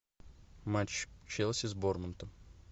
матч челси с борнмутом